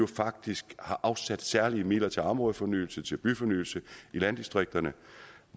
faktisk har afsat særlige midler til områdefornyelse til byfornyelse i landdistrikterne